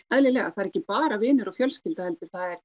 eðlilega það er ekki bara vinir og fjölskylda heldur það er